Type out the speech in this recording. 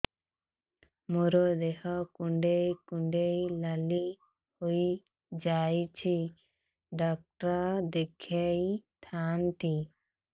ମୋର ଦେହ କୁଣ୍ଡେଇ କୁଣ୍ଡେଇ ନାଲି ହୋଇଯାଉଛି ଡକ୍ଟର ଦେଖାଇ ଥାଆନ୍ତି